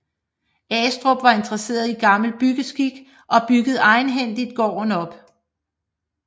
Astrup var interesseret i gammel byggeskik og byggede egenhændigt gården op